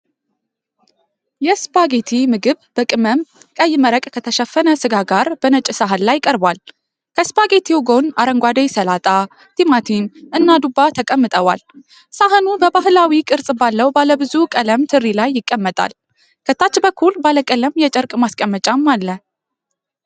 የስፓጌቲ ምግብ በቅመም ቀይ መረቅ ከተሸፈነ ስጋ ጋር በነጭ ሳህን ላይ ቀርቧል። ከስፓጌቲው ጎን አረንጓዴ ሰላጣ፣ ቲማቲም እና ዱባ ተቀምጠዋል። ሳህኑ በባህላዊ ቅርጽ ባለው ባለብዙ ቀለም ትሪ ላይ ይቀመጣል፤ ከታች በኩል ባለቀለም የጨርቅ ማስቀመጫ አለ።